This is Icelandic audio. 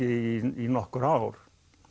í nokkur ár